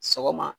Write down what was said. Sɔgɔma